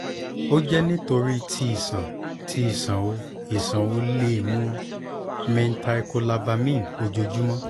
o jẹ nitori ti iṣan iṣan o iṣan o le mu methylcobalamine ojoojumọ